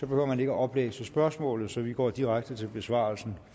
behøver man ikke at oplæse spørgsmålet så vi går direkte til besvarelsen